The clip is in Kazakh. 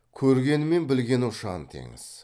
көргені мен білгені ұшан теңіз